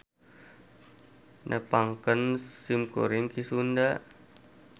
Nepangkeun simkuring Ki Sunda.